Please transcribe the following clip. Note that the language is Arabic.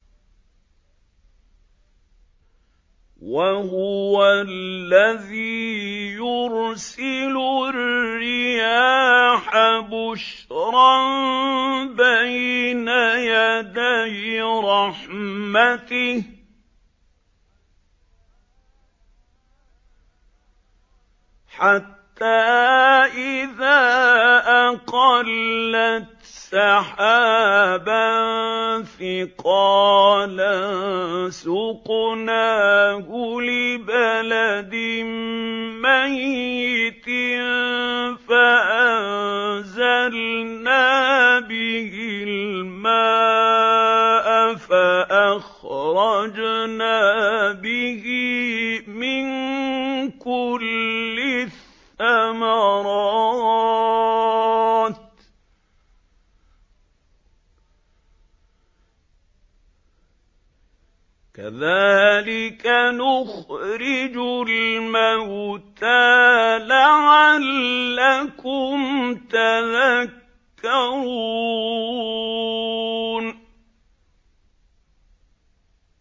وَهُوَ الَّذِي يُرْسِلُ الرِّيَاحَ بُشْرًا بَيْنَ يَدَيْ رَحْمَتِهِ ۖ حَتَّىٰ إِذَا أَقَلَّتْ سَحَابًا ثِقَالًا سُقْنَاهُ لِبَلَدٍ مَّيِّتٍ فَأَنزَلْنَا بِهِ الْمَاءَ فَأَخْرَجْنَا بِهِ مِن كُلِّ الثَّمَرَاتِ ۚ كَذَٰلِكَ نُخْرِجُ الْمَوْتَىٰ لَعَلَّكُمْ تَذَكَّرُونَ